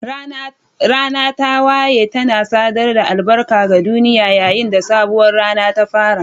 Rana ta wayewa tana sadar da albarka ga duniya yayin da sabuwar rana ta fara.